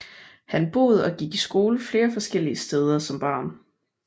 Han boede og gik i skole flere forskellige steder som barn